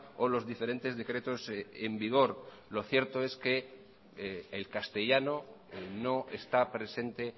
o los diferentes decretos en vigor lo cierto es que el castellano no está presente